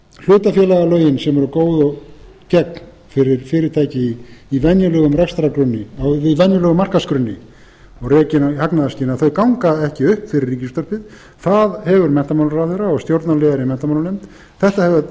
hlutafélagalögin sem eru góð og gegn fyrir fyrirtæki í venjulegum markaðsgrunni og rekin í hagnaðarskyni þau ganga ekki upp fyrir ríkisútvarpið það hefur menntamálaráðherra og stjórnarliðar í